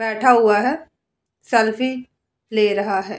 बैठा हुआ है। सेल्फी ले रहा है।